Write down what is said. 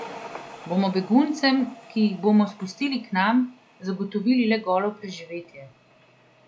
Bomo beguncem, ki jih bomo spustili k nam, zagotovili le golo preživetje?